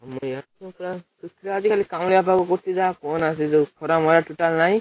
ଆଜି ଖାଲି କାଉଁଳିଆ ପାଗ କରୁଛି ଯାହା କହନା ସେଯୋଉ ଖରା ମରା total ନାହିଁ।